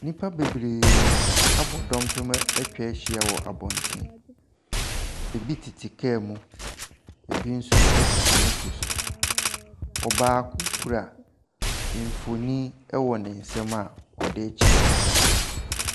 Nnipa bebree abɔ dɔmpem atwa ahyia wɔ abɔnten. Ebi tete kaa mu, ebi nso tete moto so. Ɔbaako kura mfonin wɔ ne nsam a ɔde rekyerɛ.